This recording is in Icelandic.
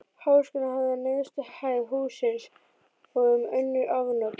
Háskólinn hafði neðstu hæð hússins og um önnur afnot